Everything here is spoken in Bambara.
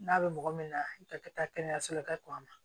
N'a bɛ mɔgɔ min na i ka kɛ taa kɛnɛyaso la ka kɔn a ma